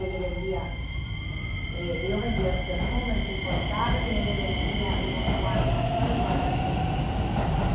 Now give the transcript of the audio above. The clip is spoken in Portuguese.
Ele vendia eh eu vendia os perfumes importados e ele vendia o guarda-sol e o guarda-chuva importados.